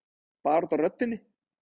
Bara út af röddinni.